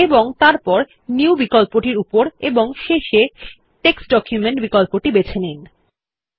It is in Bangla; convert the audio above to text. এবং তারপর নিউ বিকল্পটির উপর এবং শেষে টেক্সট ডকুমেন্ট বিকল্পটির বেছে নিন